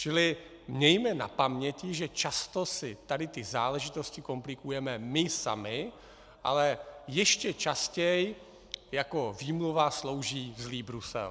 Čili mějme na paměti, že často si tady ty záležitosti komplikujeme my sami, ale ještě častěji jako výmluva slouží zlý Brusel.